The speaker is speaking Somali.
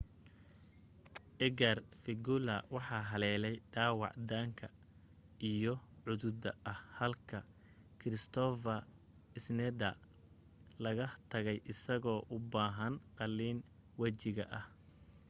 edgar veguilla waxa haleelay dhaawac daanka iyo cududa ah halka kristoffer schneider laga tagay isagoo u baahan qaallin wajiga ah